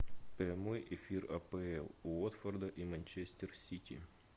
прямой эфир апл уотфорда и манчестер сити